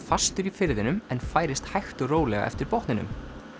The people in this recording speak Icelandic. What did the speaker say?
fastur í firðinum en færist hægt og rólega eftir botninum